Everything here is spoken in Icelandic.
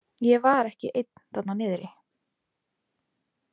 Ég var ekki einn þarna niðri.